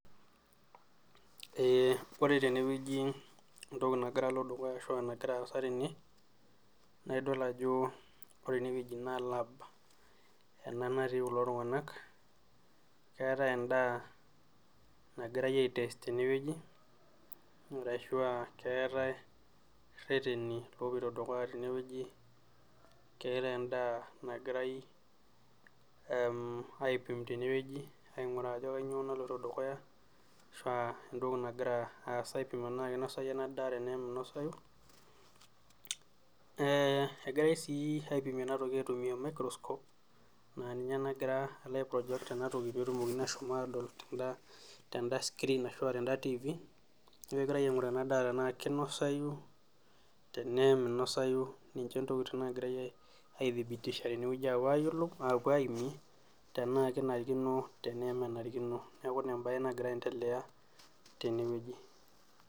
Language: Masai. Ore teneweji entoki nagira alo dukuya ashu nagira aasa tenen naaa idol ajo ore eneweji naa lab ena natii kulo tunganak ,keetae endaa nagirae aitest teneweji ,ashua keetae reteni lopoito dukuya teneweji keeta endaa nagirae aipim teneweji ,ainguraa ajo kainyoo naloito dukuya ashu entoki nagira aasa tenaa kinosayu ena daa tena minosayu ,egirae sii aipim enatoki aitumiyia maicroscop naa ninye nalo aiproject ena toki pee etumokini asom atodol tenda tifii, neeku kegirae ainguraa ena daa tenaa kinosayu ,ninye ntokiting nagirae aithibitisha, apuo ayiolou ,apuo aimie tena kenarikino tena enarikino neeku ina embae nagira aendelea teneweji .